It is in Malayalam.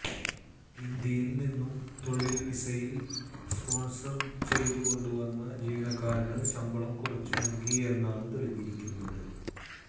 ഇന്ത്യയിൽ നിന്ന് തൊഴിൽ വിസയിൽ സ്പോൺസർ ചെയ്തുകൊണ്ടുവന്ന ജീവനക്കാരന് ശമ്പളം കുറച്ചു നൽകി എന്നാണ് തെളിഞ്ഞിരിക്കുന്നത്